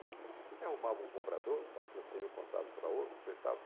A gente arrumava um comprador, transferia o contrato para outro, acertava.